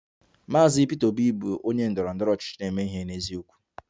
Mr Peter Obi bụ onye ndọrọ ndọrọ ọchịchị na-eme ihe n'eziokwu